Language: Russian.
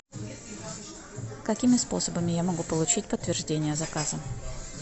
какими способами я могу получить подтверждение заказа